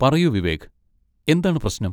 പറയൂ, വിവേക്, എന്താണ് പ്രശനം?